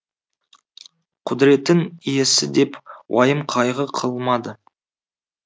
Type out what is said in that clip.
құдіреттің иесі деп уайым қайғы қылмады